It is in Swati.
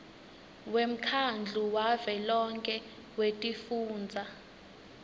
wemkhandlu wavelonkhe wetifundza